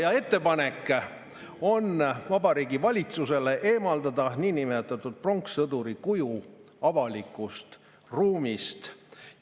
On ettepanek Vabariigi Valitsusele eemaldada niinimetatud pronkssõduri kuju avalikust ruumist.